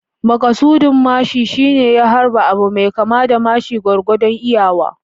Makasudin mashin shine ya harba abu mai kama da mashi gwargwadon iyawa.